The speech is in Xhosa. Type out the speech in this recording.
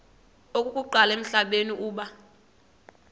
okokuqala emhlabeni uba